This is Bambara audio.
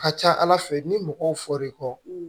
A ka ca ala fɛ ni mɔgɔw fɔr'i kɔ